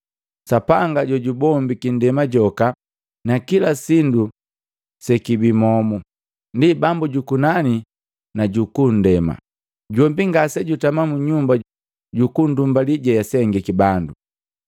Sapanga jojubombiki ndema joka na kila sindu sekibi momu, ndi Bambu jukunani nuku ndema, jombi ngasejutama mu nyumba jukunndumbalii jeasengiki bandu.